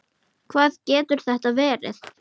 Hvað getur þetta verið?